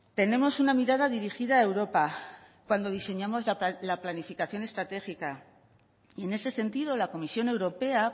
tenemos una mirada dirigida a europa cuando diseñamos la planificación estratégica y en ese sentido la comisión europea